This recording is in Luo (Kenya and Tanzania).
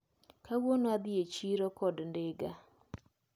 Kawuono adhi e chiro kod ndiga.